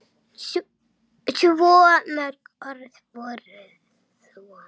Svo mörg voru þau orð!